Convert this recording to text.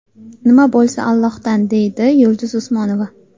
Nima bo‘lsa, Allohdan”, deydi Yulduz Usmonova.